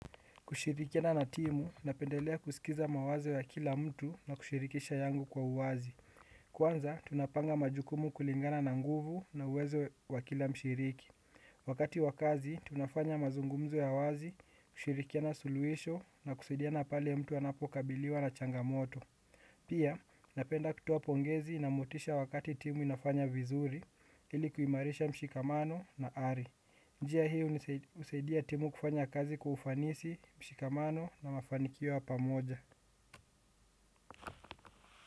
Kushirikina na timu, napendelea kusikiza mawazo ya kila mtu na kushirikisha yangu kwa uwazi. Kwanza, tunapanga majukumu kulingana na nguvu na uwezo wa kila mshiriki. Wakati wa kazi, tunafanya mazungumzo ya wazi, kushirikina suluhisho na kusaidiana pale mtu anapokabiliwa na changamoto. Pia, napenda kutoa pongezi na motisha wakati timu inafanya vizuri, ili kuimarisha mshikamano na ari. Njia hii husaidia timu kufanya kazi kwa ufanisi, mshikamano na mafanikio ya pamoja.